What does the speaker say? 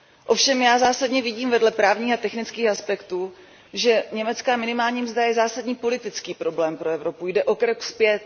Ovšem já zásadně vidím vedle právních a technických aspektů, že německá minimální mzda je zásadní politický problém pro Evropu, jde o krok zpět.